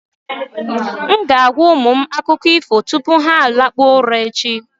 M ga-agwa ụmụ m akụkọ ifo tupu ha lakpuo ura echi.